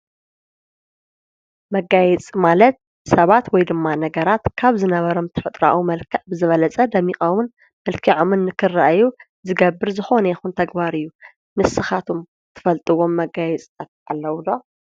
መጋይፂ ማለት ሰባት ወይ ድማ ነገራት ካብ ዝነበሮም ትፈጥራዊ መልከዕ ብዝበለጸ ደሚቀሙን መልኪዕምን ንክረአዩ ዝገብር ዝኾነ ይኹን ተግባር እዩ። ንስኻቱም ትፈልጥዎም መጋየፅታት ኣለዉ ዶ?